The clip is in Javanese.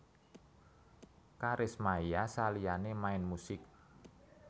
Karis Maia saliyane main musik